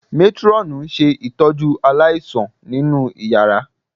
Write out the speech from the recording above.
Métírọ́ọ̀nù ń ṣe ìtọ́jú aláìsàn nínú yàrá